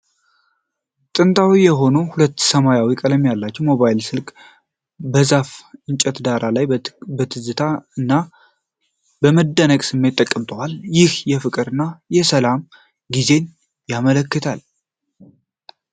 ጥንታዊ የሆነው ሰማያዊ ቀለም ያለው ሞባይል ስልክ በዛፍ እንጨት ዳራ ላይ በትዝታ እና በመደነቅ ስሜት ተቀምጧል፤ ይህም የፍቅር እና የሰላም ጊዜን ያመለክታል።